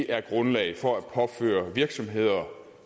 er grundlag for at påføre virksomhederne